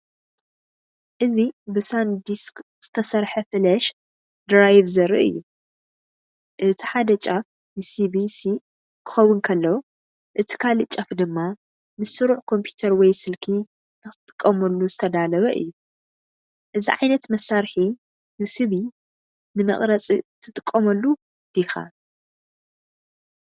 እዚ ብሳንዲስክ ዝተሰርሐ ፍላሽ ድራይቭ ዘርኢ እዩ። እቲ ሓደ ጫፍ ዩሰቢ-ሲ ክኸውን ከሎ፡ እቲ ካልእ ጫፍ ድማ ምስ ስሩዕ ኮምፒተር ወይ ስልኪ ንኽትጥቀመሉ ዝተዳለወ እዩ። እዚ ዓይነት መሳርሒ ዩሲቢ ንመቕረጺ ትጥቀመሉ ዲኻ?